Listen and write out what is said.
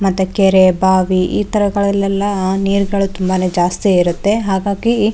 ಮತ್ತೆ ಕೆರೆ ಬಾವಿ ಈ ತರಗಳೆಲ್ಲ ನೀರ್ಗಳು ತುಂಬಾನೆ ಜಾಸ್ತಿ ಇರುತ್ತೆ ಹಾಗಾಗಿ.